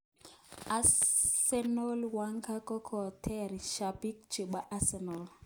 Arsene Wenger kokotoror shabik chebo Arsenal.